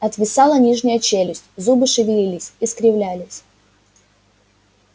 отвисала нижняя челюсть зубы шевелились искривлялись